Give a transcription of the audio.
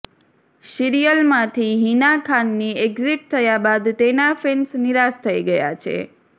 સીરિયલમાંથી હિના ખાનની એક્ઝિટ થયા બાદ તેના ફેન્સ નિરાશ થઈ ગયા છે